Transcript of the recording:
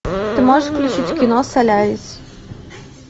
ты можешь включить кино солярис